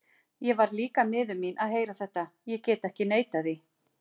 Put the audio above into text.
Ég varð líka miður mín að heyra þetta, ég get ekki neitað því.